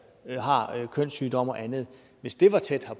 har kønssygdomme og andet tæt